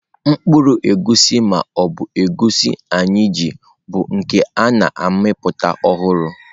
Mkpụrụ egusi ma ọ bụ Egusi anyị ji bụ nke a na-amịpụta ọhụrụ.